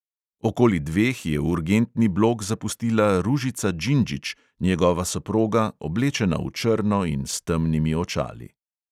Okoli dveh je urgentni blok zapustila ružica doljak, njegova soproga, oblečena v črno in s temnimi očali.